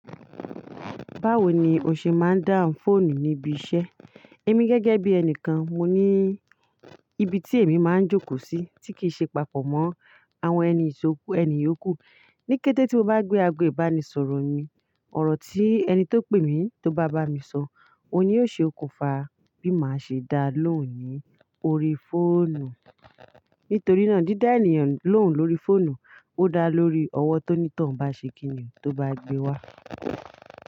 Báwo ni o ṣe máa ń dáhùn fóònù níbi iṣẹ́? Èmi gẹ́gẹ́ bí ẹni kan, mo ní ibi tí èmi máa ń jókòó sí tí kì ṣe papọ̀ mọ́ àwọn ẹni ìṣòkú, ẹni yòkú. Níkẹ́tẹ́ tí mo bá gbé ago ìbánisọ̀rọ̀ mi, ọ̀rọ̀ tí ẹni tó pè mí tó bá bá mi sọ, òun yóò ṣe okùnfà bí màá ṣe dá a lóhùn ní orí fóònù. Nítorí náà dídá èèyàn lóhùn lórí fóònù, ó dá lórí ọwọ́ tó ní tàn bá ṣe kíniún tó bá gbé wá.